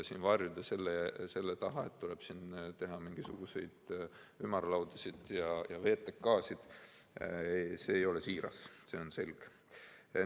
Siin varjuda selle taha, et tuleb teha mingisuguseid ümarlaudasid ja VTK‑sid – see ei ole siiras, see on selge.